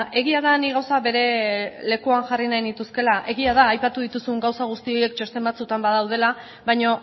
egia da nik gauza bere lekuan jarri nahi nituzkeela egia da aipatu dituzun gauza horiek txosten batzuetan badaudela baina